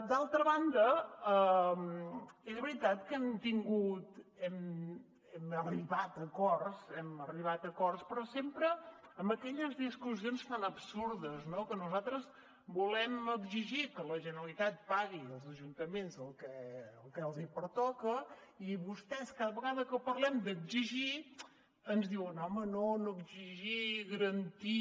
d’altra banda és veritat que hem arribat a acords però sempre amb aquelles discussions tan absurdes no que nosaltres volem exigir que la generalitat pagui als ajuntaments el que els pertoca i vostès cada vegada que parlem d’exigir ens diuen home no no exigir garantim